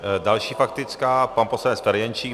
Další faktická - pan poslanec Ferjenčík.